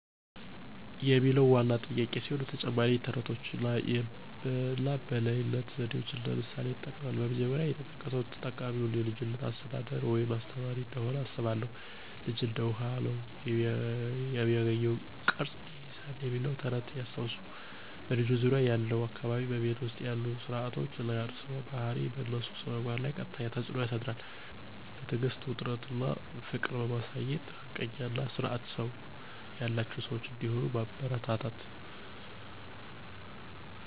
የሚለው ዋና ጥያቄ ሲሆን፣ ተጨማሪም የተረቶችን አና በልይነት ዘዴዎችን እንደ ምሣሌ ይጥቅማል። በመጀመሪያ፣ የተጠቃው የተጠቃሚዉ የልጅች አሰተዳደር ወይም አስተማሪ እንደሆኑ አስባለሁን። ልጅ እንደ ዉሀ። ነው፤ የሚገኘውን ቅረጽ ይይዛል "የሚለው ተረት ያስታወሱት "በልጆች ዙርያ ያለው አካባቢ፣ በቤት ዉስጥ ያሉ ስረዓቶች አና የእርሰዋ ባሀሪ በእነሱ ስነምግባር ለይ ቀጥተኛ ተጽዕኖ ያሳድራሉ። በትዕግስት፣ ዉስጥት አና ፍቅር በማሳየት ሀቀኛ አና ስርአት ሰው ያላቸው ሰዋች እንደሆሂ ያበረታታችዉ።